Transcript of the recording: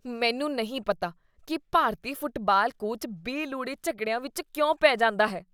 ਮੈਨੂੰ ਨਹੀਂ ਪਤਾ ਕੀ ਭਾਰਤੀ ਫੁਟਬਾਲ ਕੋਚ ਬੇਲੋੜੇ ਝਗੜਿਆਂ ਵਿੱਚ ਕਿਉਂ ਪੈ ਜਾਂਦਾ ਹੈ।